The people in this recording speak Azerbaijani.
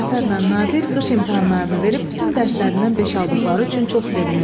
Cəfərlə Nadir qış imtahanlarını verib bütün dərslərindən beş aldıqları üçün çox sevinirdilər.